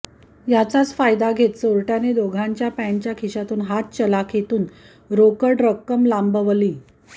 याचाच फायदा घेत चोरट्याने दोघांच्या पँटच्या खिशातून हात चालाखीतून रोकड रक्कम लांबवली